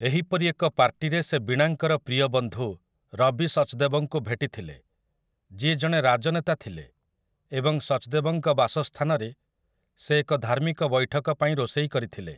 ଏହିପରି ଏକ ପାର୍ଟୀରେ ସେ ବୀଣାଙ୍କର ପ୍ରିୟ ବନ୍ଧୁ ରବି ସଚ୍‌ଦେବଙ୍କୁ ଭେଟିଥିଲେ, ଯିଏ ଜଣେ ଗାଜନେତା ଥିଲେ ଏବଂ ସଚ୍‌ଦେବଙ୍କ ବାସସ୍ଥାନରେ ସେ ଏକ ଧାର୍ମିକ ବୈଠକ ପାଇଁ ରୋଷେଇ କରିଥିଲେ ।